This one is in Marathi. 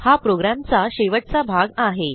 हा programचा शेवटचा भाग आहे